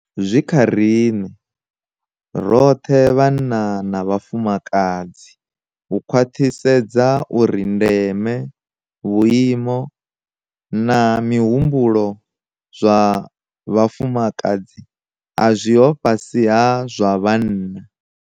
Zwi kha riṋe - roṱhe vhanna na vhafumakadzi - u khwaṱhisedza uri ndeme, vhuimo na mihumbulo zwa vhafumakadzi a zwiho fhasi ha zwa vhanna.